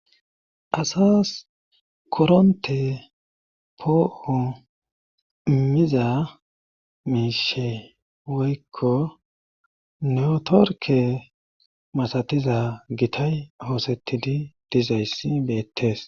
Asas koronte po'oo miza meeshe woykko neotorke masatiza gitay hoosetidi dizayssi beettes.